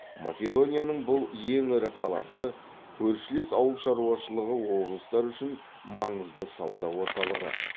македонияның бұл ең ірі қаласы көршілес ауыл шаруашылығы облыстары үшін маңызды сауда орталығы